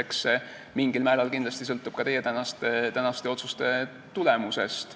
Eks see mingil määral kindlasti sõltub ka teie tänase arutelu tulemusest.